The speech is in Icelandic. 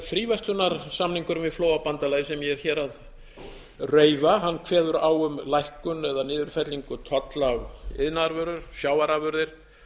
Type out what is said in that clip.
fríverslunarsamningurinn við flóabandalagið sem ég er hér að reifa kveður á um lækkun eða niðurfellingu tolla á iðnaðarvörur sjávarafurðir